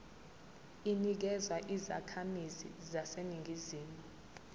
inikezwa izakhamizi zaseningizimu